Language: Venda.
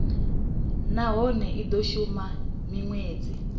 nahone i do shuma minwedzi